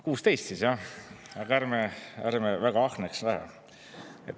16 siis jah, aga ärme väga ahneks läheme.